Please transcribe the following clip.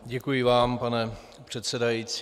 Děkuji vám, pane předsedající.